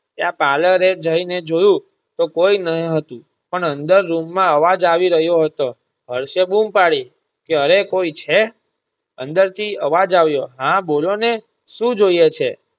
ત્યાં parlor એ જઈ ને જોયું તો કોઈ ન હતું પણ અંદર રૂમ માં અવાજ આવી રહ્યો હતો. હર્ષે બૂમ પાડી કે અરે કોઈ છે અંદરથી અવાજ આવ્યો હા બોલો ને શું જોઈએ છે?